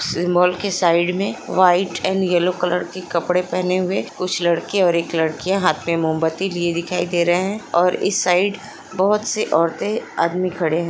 Symbol के side में white and yellow colour के कपड़े पहने हुए और कुछ लड़के और लड़किया हाथ में मोमबत्तिया लिए दिखाई दे रही है।